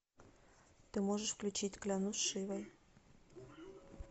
ты можешь включить клянусь шивой